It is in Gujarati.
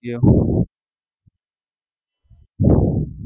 ક્યાં?